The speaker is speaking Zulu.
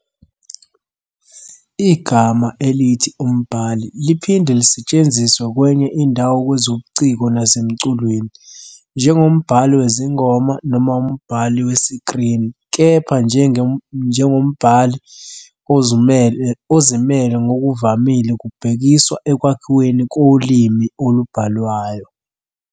Igama elithi "umbhali" liphinde lisetshenziswe kwenye indawo kwezobuciko nasemculweni - njengombhali wezingoma noma umbhali wesikrini - kepha njenge "mbhali" ozimele ngokuvamile kubhekiswa ekwakhiweni kolimi olubhalwayo.